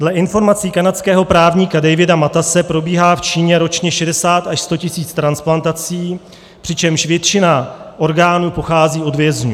Dle informací kanadského právníka Davida Matas probíhá v Číně ročně 60 až 100 tisíc transplantací, přičemž většina orgánů pochází od vězňů.